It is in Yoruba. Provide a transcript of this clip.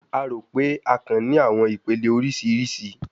A ro pe akàn ni awọn ipele oriṣiriṣi